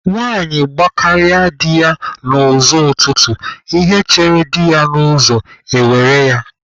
Nwaanyi gbakarịa di ya n'ụzọ ụtụtụ, ihe chere di ya n'ụzọ e were ya.